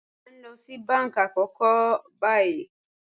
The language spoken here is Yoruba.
A n lọ sí bánkí àkókò ní bàyì